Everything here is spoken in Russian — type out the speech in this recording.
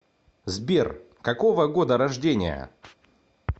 сбер какого года рождения